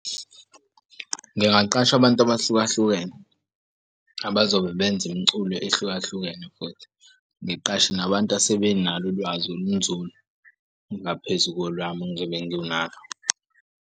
Ngingaqasha abantu abahluka hlukene abazobe benza imiculo ehlukahlukene ngiqashe nabantu asebenalo ulwazi olunzulu ngaphezu kolwami engizobe nginalo.